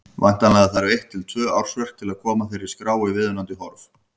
Væntanlega þarf eitt til tvö ársverk til að koma þeirri skrá í viðunandi horf.